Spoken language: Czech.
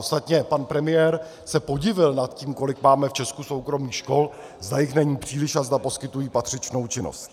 Ostatně pan premiér se podivil nad tím, kolik máme v Česku soukromých škol, zda jich není příliš a zda poskytují patřičnou činnost.